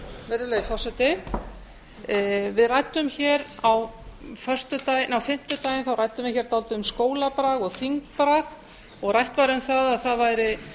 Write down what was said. virðulegi forseti við ræddum hér á fimmtudaginn dálítið um skólabrag og þingbrag og rætt var um það að það væri